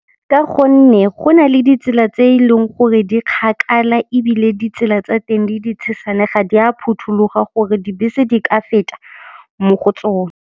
Ka gonne go nale ditsela tse eleng gore di kgakala ebile ditsela tsa teng di di tshesane, ga di a phuthuloga gore dibese di ka feta mo go tsone.